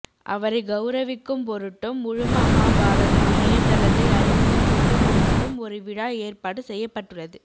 அவரை கௌரவிக்கும்பொருட்டும் முழுமகாபாரதம் இணையதளத்தை அறிமுகம் செய்யும்பொருட்டும் ஒரு விழா ஏற்பாடு செய்யப்பட்டுள்ளது